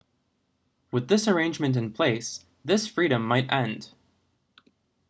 with this arrangement in place this freedom might end